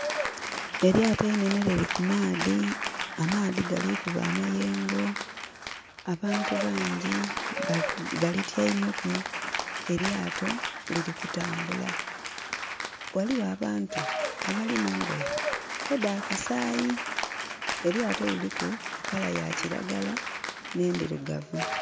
Elyaato einene liri ku maadhi. Amaadhi gali kuba amayengo. Abantu bangi balitiameku. Elyaato liri kutambula. Waliwo abantu abali mungoye edda kasayi. Elyaato liri ku langi ya kiragala ne ndirugavu